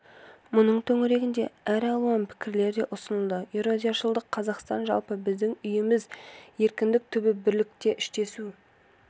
мұның төңірегінде әр алуан пікірлер де ұсынылды еуразияшылдық қазақстан жалпы біздің үйіміз еркіндік түбі бірлікте іштесу